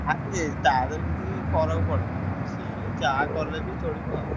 ତାରି ତଦହେରେ କିଛି ଫରକ ପଡେ ନାଁ ସିଏ ଯାହା କଲେ ଚାଲିବ।